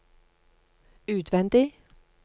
utvendig